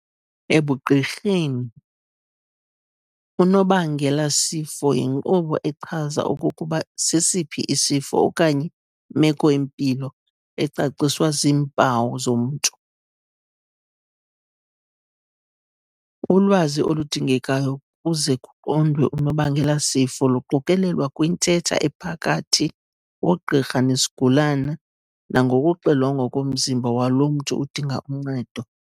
Ebugqirheni, unobangelasifo yinkqubo echaza okokuba sesiphi isifo okanye imeko-mpilo ecaciswa ziimpawu zomntu. Ulwazi oludingekayo kuze kuqondwe unobangelasifo luqokelelwa kwintetha ephakathi kogqirha nosigulwana nangokuxilongwa komzimba walomntu udinga uncedo.